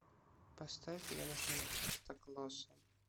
поставь януша стоклоса